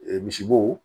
misibo